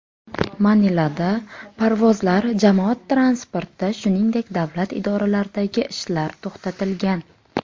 Manilada parvozlar, jamoat transporti, shuningdek, davlat idoralaridagi ishlar to‘xtatilgan.